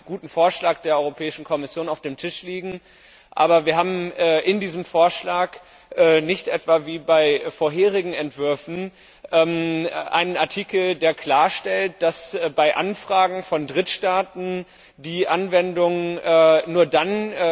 Wir haben einen guten Vorschlag der Europäischen Kommission auf dem Tisch liegen, aber wir haben in diesem Vorschlag nicht etwa, wie bei vorherigen Entwürfen, einen Artikel, der klarstellt, dass bei Anfragen von Drittstaaten die Anwendung nur dann